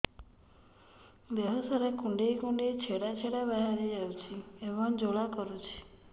ଦେହ ସାରା କୁଣ୍ଡେଇ କୁଣ୍ଡେଇ ଛେଡ଼ା ଛେଡ଼ା ବାହାରି ଯାଉଛି ଏବଂ ଜ୍ୱାଳା କରୁଛି